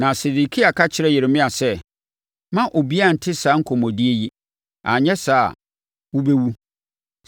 Na Sedekia ka kyerɛɛ Yeremia sɛ, “Mma obiara nte saa nkɔmmɔdie yi, anyɛ saa a, wobɛwu.